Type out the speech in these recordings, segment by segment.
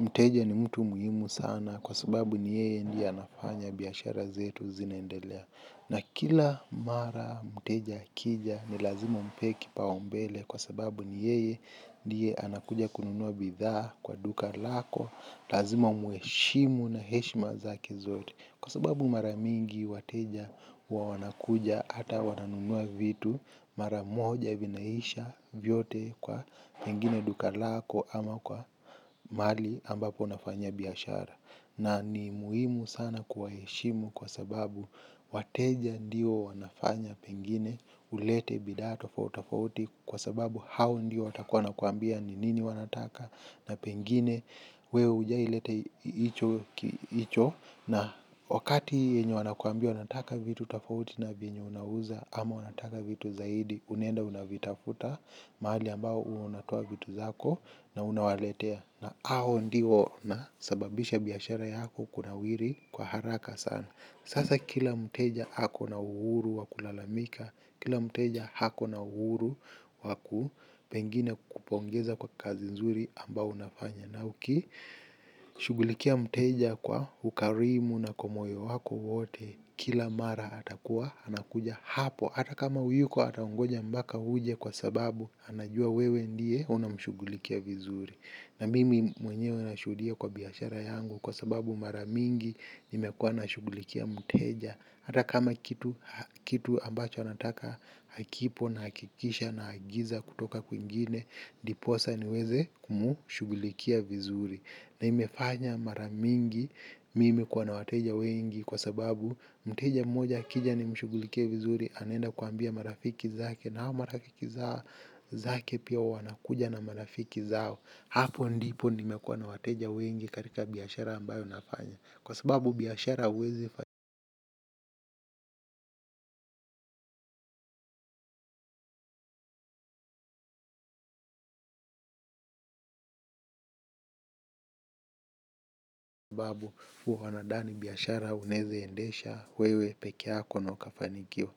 Mteja ni mtu muhimu sana kwa sababu ni yeye ndiye anafanya biashara zetu zinaendelea. Na kila mara mteja akija ni lazima umpee kipao mbele kwa sababu ni yeye ndiye anakuja kununua bidhaa kwa duka lako, lazima umheshimu na heshima zake zote. Kwa sababu mara mingi wateja huwa wanakuja hata wananunua vitu mara moja vinaisha vyote kwa pengine duka lako au kwa mahali ambapo unafanyia biashara. Na ni muhimu sana kuwaheshimu kwa sababu wateja ndiyo wanafanya pengine ulete bidhaa tofauti tofauti kwa sababu hao ndiyo watakuwa wanakuambia ni nini wanataka na pengine na pengine wewe hujawai leta hicho na wakati yenye wanakuambia wanataka vitu tofauti na vyenye unauza, ama wanataka vitu zaidi unaenda unazitafuta mahali ambapo unatoa vitu zako na unawaletea. Na ao ndio wanasababisha biashara yako kunawiri kwa haraka sana. Sasa kila mteja ako na uhuru wakulalamika. Kila mteja ako na uhuru waku pengine kukupongeza kwa kazi nzuri ambayo unafanya. Na uki shugulikia mteja kwa ukarimu na kwa moyo wako wote, kila mara atakuwa anakuja hapo. Hata kama huyuko atakungoja mpaka uje kwa sababu anajua wewe ndiye unamshugulikia vizuri. Na mimi mwenyewe nashudia kwa biashara yangu kwa sababu mara mingi nimekuwa nashugulikia mteja. Hata kama kitu ambacho anataka hakipo nahakikisha naagiza kutoka kwingine ndiposa niweze kumshugulikia vizuri. Na imefanya mara mingi mimi kuwa na wateja wengi kwa sababu mteja mmoja akija nimshugulikie vizuri anaenda kuambia marafiki zake na hao marafiki zake pia wanakuja na marafiki zao. Hapo ndipo nimekuwa na wateja wengi katika biashara ambayo nafanya. Kwa sababu biashara huwezi fa kwa sababu huwa wanadani biashara unaeze endesha wewe pekee yako na ukafanikiwa.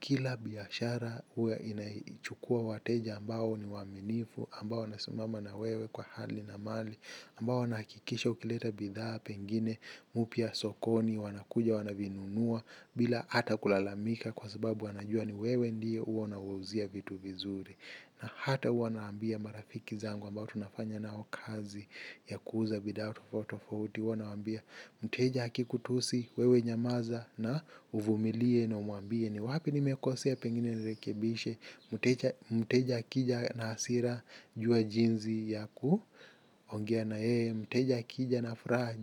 Kila biashara huwa inachukua wateja ambao ni waaminifu ambao wanasimama na wewe kwa hali na mali. Ambao wanakikisha ukileta bidhaa pengine mpya sokoni wanakuja wanavinunua bila ata kulalamika. Kwa sababu wanajua ni wewe ndiye huwa unawauzia vitu vizuri. Na hata huwa naambia marafiki zangu ambao tunafanya nao kazi ya kuuza bidhaa tofauti tofauti huwa nawaambia mteja akikutusi wewe nyamaza na uvumilie na umuambie ni wapi nimekosea pengine nirekebishe, mteja mteja akija na hasira jua jinsi ya kuongea na yeye, mteja akija na furaha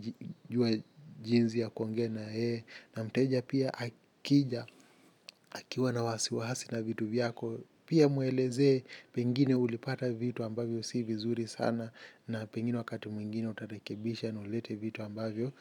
jua jinsi ya kuongea na yeye, na mteja pia akija akiwa na wasiwasi na vitu vyako pia muelezee pengine ulipata vitu ambavyo si vizuri sana na pengine wakati mwingine utarekebisha na ulete vitu ambavyo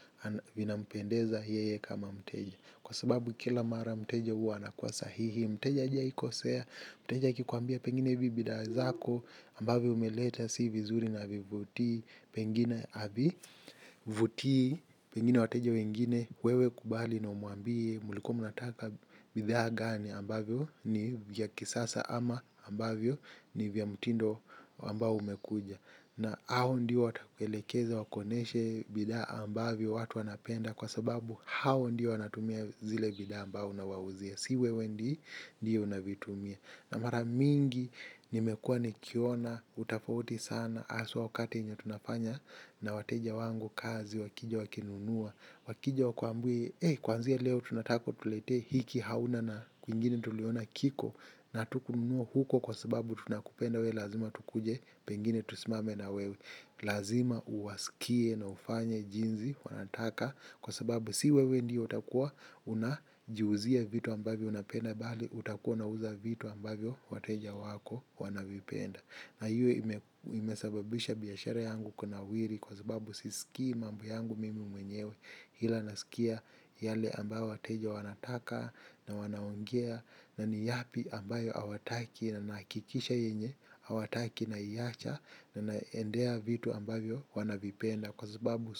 vinampendeza yeye kama mteja. Kwa sababu kila mara mteja huwa anakuwa sahihi, mteja hajai kosea, mteja akikuambia pengine hizi bidhaa zako ambazo umeleta si vizuri na havivuti pengine havivutii, pengine wateja wengine wewe kubali na umuambie mlikuwa mnataka bidhaa gani ambazo ni vya kisasa ama ambavyo ni vya mutindo ambao umekuja. Na hao ndio watakuelekeza wakuoneshe bidhaa ambazo watu wanapenda kwa sababu hao ndio wanatumia zile bidhaa ambazo unawauzia si wewe ndi ndiyo unavitumia na mara mingi nimekua nikiona utofauti sana haswa wakati yenye tunafanya na wateja wangu kazi wakija wakinunua. Wakija wakuambie kuanzia leo tunataka utuletee hiki hauna na kwingine tuliona kiko na hatukununua huko kwa sababu tunakupenda wewe lazima tukuje pengine tusimame na wewe. Lazima uwasikie na ufanye jinsi wanataka kwa sababu si wewe ndiyo utakua unajiuzia vitu ambavyo unapenda bali utakua unauza vitu ambavyo wateja wako wanavipenda na hiyo ime imesababisha biashara yangu kunawiri kwa sababu sisikii mambo yangu mimi mwenyewe ila nasikia yale ambayo wateja wanataka na wanaongea na ni yapi ambayo hawataki na nahakikisha yenye, hawataki naiacha na naendea vitu ambavyo wanavipenda kwa sababu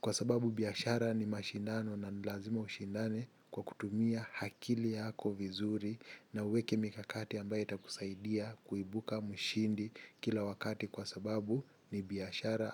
kwa sababu biashara ni mashindano na ni lazima ushindane kwa kutumia akili yako vizuri na uweke mikakati ambayo itakusaidia kuibuka mshindi kila wakati kwa sababu ni biashara.